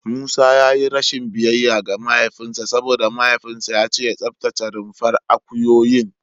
Musa ya yi rashin biyayya ga mahaifinsa saboda mahaifinsa ya ce ya tsaftace rumfar akuyoyin.